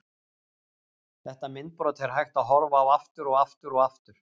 Þetta myndbrot er hægt að horfa á aftur og aftur og aftur.